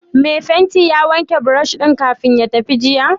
Mai fenti ya wanke brush ɗin kafin ya tafi jiya?